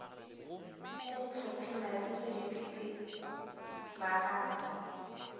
ka dihlophi mabilo dipipi magaba